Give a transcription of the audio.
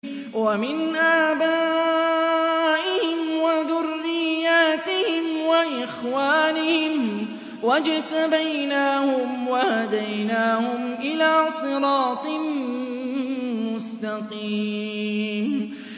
وَمِنْ آبَائِهِمْ وَذُرِّيَّاتِهِمْ وَإِخْوَانِهِمْ ۖ وَاجْتَبَيْنَاهُمْ وَهَدَيْنَاهُمْ إِلَىٰ صِرَاطٍ مُّسْتَقِيمٍ